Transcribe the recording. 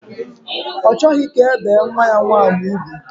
Ọ chọghị ka e bee nwa ya nwaanyị ugwu